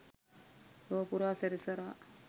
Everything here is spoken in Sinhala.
ලොවපුරා සැරිසරා